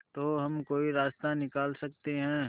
तो हम कोई रास्ता निकाल सकते है